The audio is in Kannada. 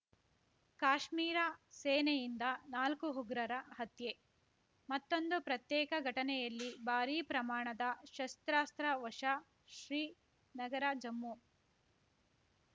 ಕಾಶ್ಮೀರ ಸೇನೆಯಿಂದ ನಾಲ್ಕು ಉಗ್ರರ ಹತ್ಯೆ ಮತ್ತೊಂದು ಪ್ರತ್ಯೇಕ ಘಟನೆಯಲ್ಲಿ ಭಾರೀ ಪ್ರಮಾಣದ ಶಸ್ತ್ರಾಸ್ತ್ರ ವಶ ಶ್ರೀನಗರಜಮ್ಮು